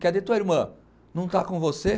Cadê, tua irmã não está com você?